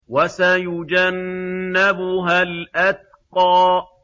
وَسَيُجَنَّبُهَا الْأَتْقَى